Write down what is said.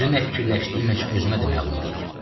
Düzü nə fikirləşdiyim heç özümə də məlum deyil.